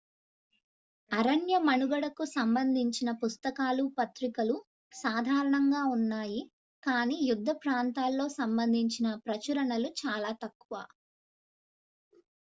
అరణ్యమనుగడకు సంబందించిన పుస్తకాలు పత్రికలు సాధారణంగా ఉన్నాయి కానీ యుద్ధ ప్రాంతాల్లో సంబందించిన ప్రచురణలు చాలా తక్కువ